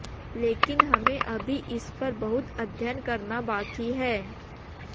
लेकिन हमें अभी इस पर बहुत अध्ययन करना बाकी है